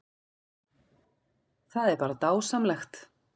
Það er bara dásamlegt